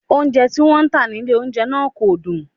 Oúnjẹ tí wọ́n ń tà nílé oúnjẹ náà kò dùn